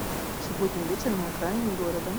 субботний вечер на окраине города